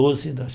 Doze nas